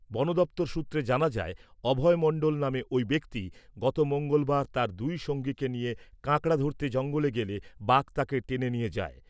বন দফতর সূত্রে জানা যায়, অভয় মণ্ডল নামে ওই ব্যক্তি, গত মঙ্গলবার, তার দুই সঙ্গীকে নিয়ে কাঁকড়া ধরতে জঙ্গলে গেলে, বাঘ তাকে টেনে নিয়ে যায়।